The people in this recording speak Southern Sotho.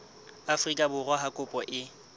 afrika borwa ha kopo e